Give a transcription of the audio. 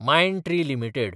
Mindtree limited